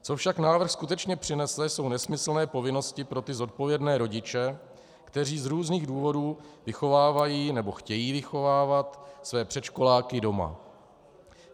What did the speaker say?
Co však návrh skutečně přinese, jsou nesmyslné povinnosti pro ty zodpovědné rodiče, kteří z různých důvodů vychovávají nebo chtějí vychovávat své předškoláky doma.